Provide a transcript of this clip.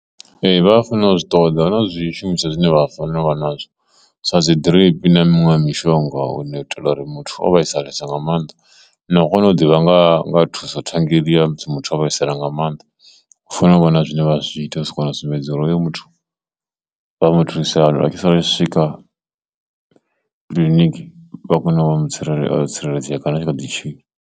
Ee, vha a fanela u zwi ṱoḓa na zwishumiswa zwine vha fanela uvha nazwo sa dzi drip na miṅwe mishonga une u itela uri muthu o vhaisalesa nga maanḓa na u kona u ḓivha nga nga thuso ṱhanngela ya muthu o vhaisala nga maanḓa u fanela u vha na zwine vha zwi ita u sa kona u sumbedza uri hoyu muthu vha mu thusa hani a tshi sala a tshi swika kiḽiniki vha kone u mu tsireledza yo tsireledzea kana tshi kha ḓi tshila.